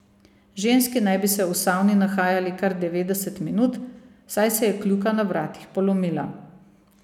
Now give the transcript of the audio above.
Ženski naj bi se v savni nahajali kar devetdeset minut, saj se je kljuka na vratih polomila.